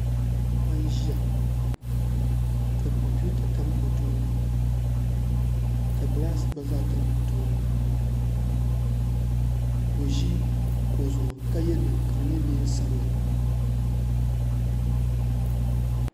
Paɣa n ʒiya ka kompiuta tam o tooni ka gilaas gba zaa tam o tooni ka o ʒi kuɣu zuɣu ka yɛ liiga sabinli